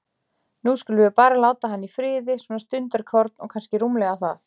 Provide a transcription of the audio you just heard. Nú skulum við bara láta hann í friði, svona stundarkorn, og kannski rúmlega það.